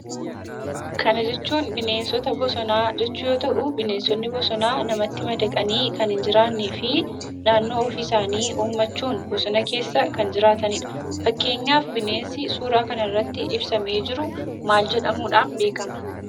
Kana jechuun bineensota bosonaa jechuu yoo ta'uu, bineensonni bosonaa namatti madaqanii kan hin jiraanneefi naannoo ofii isaanii uummachuun bosona keessa kan jiraatanidha. Fakkeenyaaf bineensi suuraa kanarratti ibsamee jiru maal jedhamuudhaan beekama?